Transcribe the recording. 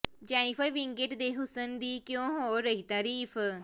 Jennifer Winget ਦੇ ਹੁਸਨ ਦੀ ਕਿਉਂ ਹੋ ਰਹੀ ਤਾਰੀਫ